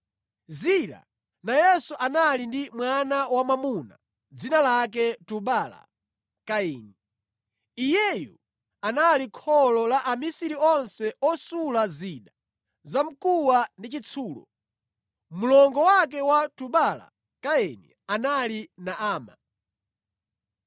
Zila nayenso anali ndi mwana wamwamuna, dzina lake Tubala-Kaini. Iyeyu anali kholo la amisiri onse osula zida za mkuwa ndi chitsulo. Mlongo wake wa Tubala-Kaini anali Naama.